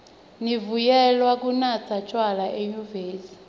nivunyelwe kunatsa tjwala enyuvesi